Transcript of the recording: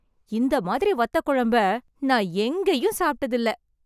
இந்த மாதிரி வத்தக்குழம்பை, நான் எங்கேயும் சாப்ட்டதில்ல.